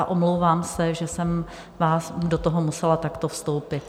A omlouvám se, že jsem vám do toho musela takto vstoupit.